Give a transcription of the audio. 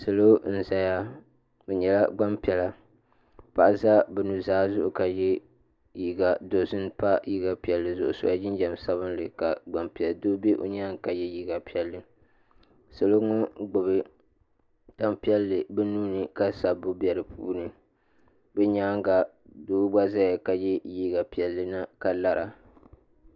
Bihi anahi n bɛ yili ni ka bia yingo yɛ liiga ʒee ka bi bihi ayi yɛ liiga tankpaɣu laasabu ka mɔri pata bɛ bi nyaanga ka yili zaya ka yingo gbubi daɣu.